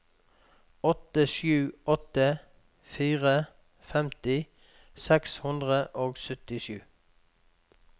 åtte sju åtte fire femti seks hundre og syttisju